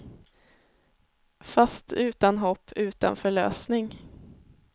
Fast utan hopp, utan förlösning.